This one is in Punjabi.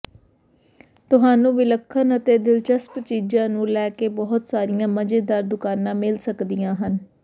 ਤੁਹਾਨੂੰ ਵਿਲੱਖਣ ਅਤੇ ਦਿਲਚਸਪ ਚੀਜ਼ਾਂ ਨੂੰ ਲੈ ਕੇ ਬਹੁਤ ਸਾਰੀਆਂ ਮਜ਼ੇਦਾਰ ਦੁਕਾਨਾਂ ਮਿਲ ਸਕਦੀਆਂ ਹਨ